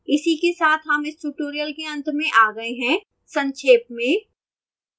इसी के साथ हम इस tutorial के अंत में आ गए हैं संक्षेप में